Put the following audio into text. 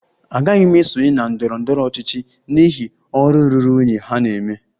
Agaghị m esonye na ndọrọ ndọrọ ọchịchị n'ihi ọrụ ruru unyi ha na-eme